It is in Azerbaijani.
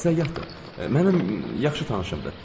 Səyahətdir, mənim yaxşı tanışımdır.